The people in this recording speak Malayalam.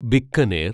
ബിക്കനേർ